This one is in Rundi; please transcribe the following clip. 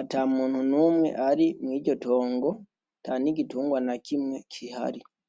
ata muntu numwe ari mwiryo tongo ata n’igitungwa na kimwe gihari.